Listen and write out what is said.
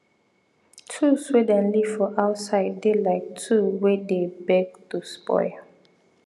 tool wey dem leave for outside dey like tool wey dey beg to spoil